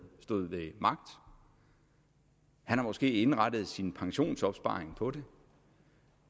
stod ved magt han har måske indrettet sin pensionsopsparing på det